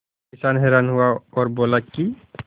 किसान हैरान हुआ और बोला कि